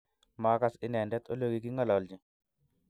Magaas inendet olekigingololji